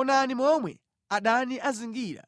“Onani momwe adani azingira